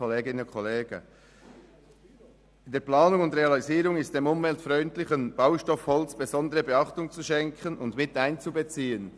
«In der Planung und Realisierung ist dem umweltfreundlichen Baustoff Holz besondere Beachtung zu schenken, und er ist mit einzubeziehen.»